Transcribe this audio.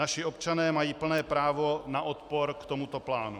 Naši občané mají plné právo na odpor k tomuto plánu.